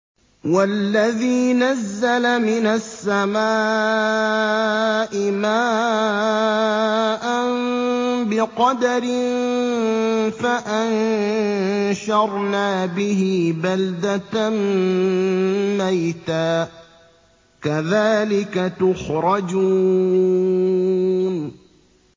وَالَّذِي نَزَّلَ مِنَ السَّمَاءِ مَاءً بِقَدَرٍ فَأَنشَرْنَا بِهِ بَلْدَةً مَّيْتًا ۚ كَذَٰلِكَ تُخْرَجُونَ